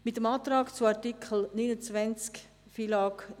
Mit dem Antrag zu Artikel 29 Buchstabe